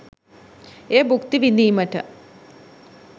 එය භුක්ති විදීමට?